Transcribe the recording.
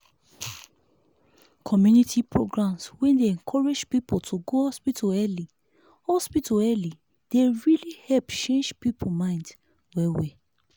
community programs wey dey encourage people to go hospital early hospital early dey really help change people mind well well.